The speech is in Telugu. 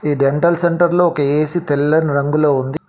ఈ డెంటల్ సెంటర్లో ఒక ఏసీ తెల్లని రంగులో ఉంది.